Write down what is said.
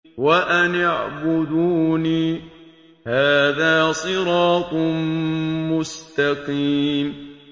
وَأَنِ اعْبُدُونِي ۚ هَٰذَا صِرَاطٌ مُّسْتَقِيمٌ